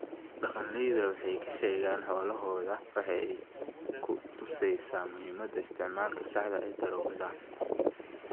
Dhaqanleyda waxay ka sheegaan xoolahooda waxay ku tusaysaa muhiimada isticmaalka saxda ah ee daroogada.